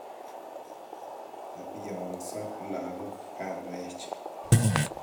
Kabiongso lagook kangoech